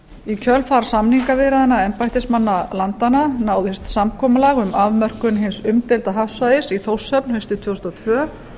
í kjölfar samningaviðræðna embættismanna landanna náðist samkomulag um afmörkun hins umdeilda hafsvæðis í þórshöfn haustið tvö þúsund og tvö